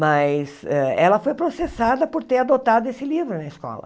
Mas eh ela foi processada por ter adotado esse livro na escola.